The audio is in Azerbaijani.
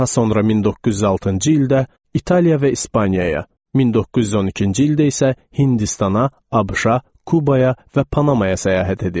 Daha sonra 1906-cı ildə İtaliya və İspaniyaya, 1912-ci ildə isə Hindistana, ABŞ-a, Kubaya və Panamaya səyahət edib.